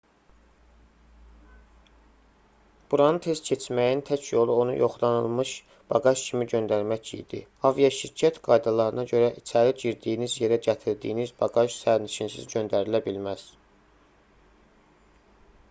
buranı tez keçməyin tək yolu onu yoxlanılmış baqaj kimi göndərmək idi aviaşirkət qaydalarına görə içəri girdiyiniz yerə gətirdiyiniz baqaj sərnişinsiz göndərilə bilməz